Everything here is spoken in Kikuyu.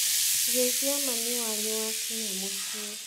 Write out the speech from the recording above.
Geithia mami wanyu wakinya mũciĩ.